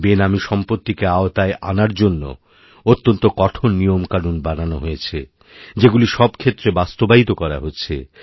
বেনামীসম্পত্তিকে আওতায় আনার জন্য অত্যন্ত কঠোর নিয়মকানুন বানানো হয়েছে যেগুলি সবক্ষেত্রে বাস্তবায়িত করা হচ্ছে